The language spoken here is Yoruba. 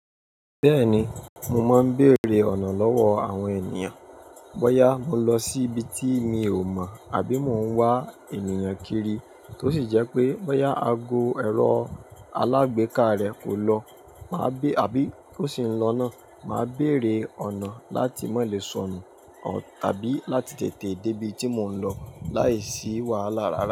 Bẹ́ẹ̀ni, mo máa ń bèrè ọ̀nà lọ́wọ́ àwọn ènìyàn. Bọ́yá mo ń lọ sí ibi tí mi ò mọ̀ àbí mò ń wá ènìyàn kiri tó sì jẹ́ pé bóyá ago ẹrọ alágbèéká rẹ kò lọ máa bí-- àbí kó sì ń lọ náà, màá bèrè ọ̀nà láti mọ lè sọnù tàbí láti tètè dé ibi tí mò ń lọ láìsí wàhálà rárá.